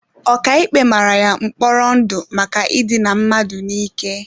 Ọkàikpe mara ya mkpọrọ ndụ maka idina mmadụ n'ike.